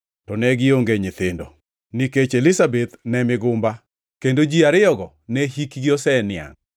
To ne gionge gi nyithindo, nikech Elizabeth ne migumba, kendo ji ariyogo ne hikgi oseniangʼ.